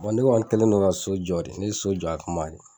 ne kɔni kɛlen don ka so jɔ ne ye so jɔ a kama de